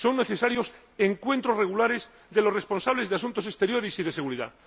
Se necesitan encuentros regulares de los responsables de asuntos exteriores y de seguridad.